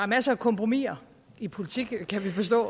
masser af kompromiser i politik kan vi forstå